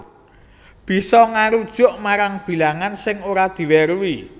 Bisa ngarujuk marang bilangan sing ora diweruhi